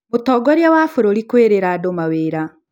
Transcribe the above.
Mũtongorĩa wa bũrũri kwĩrĩra andũ mawĩra